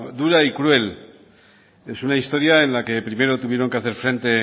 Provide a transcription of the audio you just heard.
dura y cruel es una historia en la que primero tuvieron que hacer frente